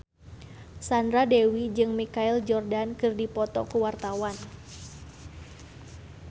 Sandra Dewi jeung Michael Jordan keur dipoto ku wartawan